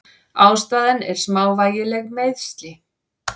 Ástæðan er smávægileg meiðsli.